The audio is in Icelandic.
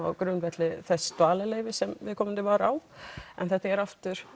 á grundvelli þess dvalarleyfis sem viðkomandi var á en þetta er aftur